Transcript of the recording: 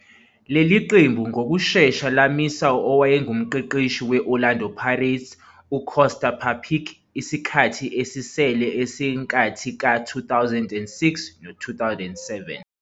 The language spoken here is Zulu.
Leli qembu ngokushesha lamisa owayengumqeqeshi we-Orlando Pirates UKosta Papić isikhathi esisele senkathi ka-2006-07.